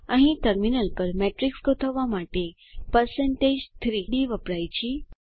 અહીં ટર્મિનલ પર મેટ્રિક્સ ગોઠવવા માટે 3d વપરાય છે